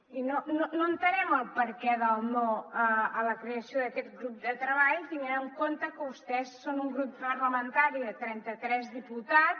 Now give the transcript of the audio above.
i no entenem el perquè del no a la creació d’aquest grup de treball tenint en compte que vostès són un grup parlamentari de trenta tres diputats